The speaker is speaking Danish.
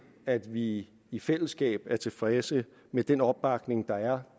at vi i i fællesskab er tilfredse med den opbakning der er